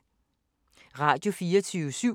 Radio24syv